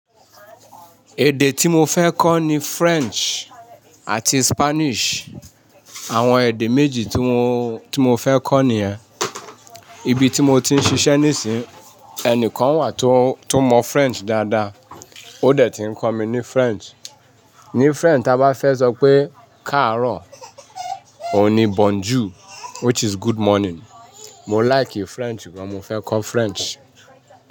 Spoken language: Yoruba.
Èdè tí mo fẹ́ kọ́ ni French àti Spanish. Àwọn èdè méjì tí mo, tí mo fẹ́ kọ́ nìyẹn. Ibi tí mo ti ń ṣiṣẹ́ nísìnyí, ẹni kan wà tó mọ French dáadáa, ó dẹ̀ ti ń kọ́ mi ní French. Ni French, ta bá fẹ́ sọ pé káàárọ̀, òun ní bonjour, which is good morning. Mo like French gan-an, mo fẹ́ kọ́ French.